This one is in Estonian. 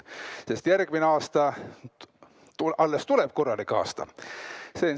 Sest järgmine aasta alles tuleb korralik aasta.